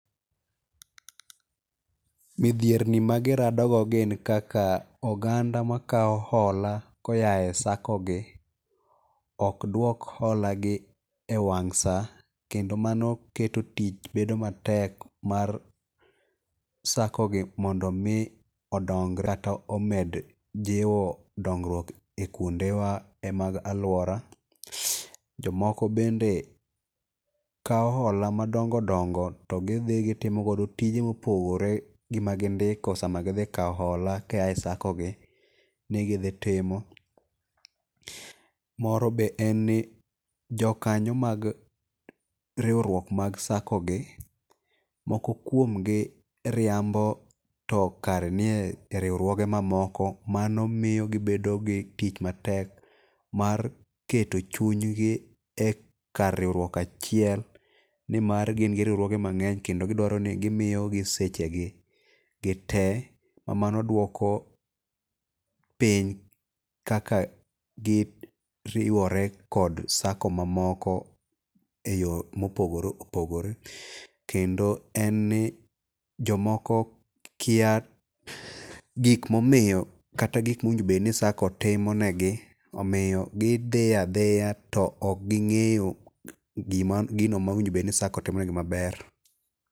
Midhierni ma girado go gin kaka oganda makao hola koya e sako gi okduok hola gi e wang' sa. Kendo mano keto tich bedo matek mar sako gi mondo mi odong kata omed jiwo dongruok e kuonde wa mag alwora. Jomoko bende kao hola madongo dongo to gidhi gitimo godo tije mopogore gi ma gindiko sama gidhi kao hola koa e sako gi ni gidhi timo. Moro be en ni jokanyo mag riwruok mag sako gi, moko kuom gi riambo to kare nie e riwruoge mamoko. Mano miyo gibedo gi tich matek mar keto chuny gi e kar riwruok achiel ni mar gin gi riwruoge mang'eny kendo gidwaro ni gimiyo gi sechegi gi gitee. Ma mano duoko piny kaka giriwore kod sako mamoko e yo mopogore opogore. Kendo en ni jomoko kiya gik momiyo, kata gik mowinjo bed ni sako timo ne gi. Omiyo gi dhi adhiya to ok ging'eyo gino mowinjo bed ni sako timo negi maber.